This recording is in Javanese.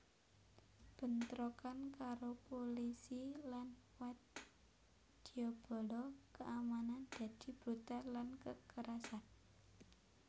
Bentrokan karo pulisi lan wadyabala kaamanan dadi brutal lan kakerasan